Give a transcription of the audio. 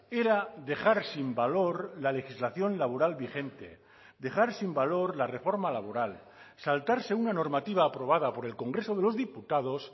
era dejar sin valor la legislación laboral vigente dejar sin valor la reforma laboral saltarse una normativa aprobada por el congreso de los diputados